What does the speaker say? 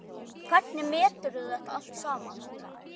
Hvernig meturðu þetta allt saman?